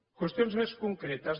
qüestions més concretes